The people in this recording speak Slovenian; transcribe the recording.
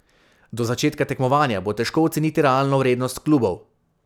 Do začetka tekmovanja bo težko oceniti realno vrednost klubov.